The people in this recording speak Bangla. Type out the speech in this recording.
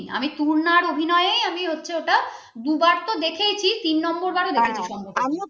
আমি তূর্ণার অভিনয় হচ্ছে আমি ওটা দুবার তো দেখেছি তিন নম্বর দেখেছি সম্ভবত